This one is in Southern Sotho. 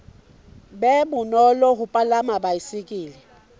be bonolo ho palama baesekele